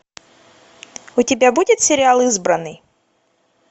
у тебя будет сериал избранный